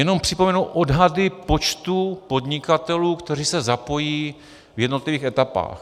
Jenom připomenu odhady počtu podnikatelů, kteří se zapojí v jednotlivých etapách.